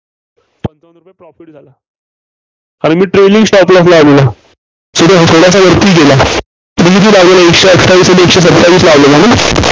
पंचावन्न रुपये Profit झाला. आणि मी trailing stop loss लावलेला. थोडासा वरती गेला. किती लावलेला एकशे अठ्ठावीस आणि एकशे सत्तावीस लावलेला?